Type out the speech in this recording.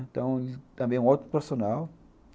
Então, ele também é um ótimo profissional.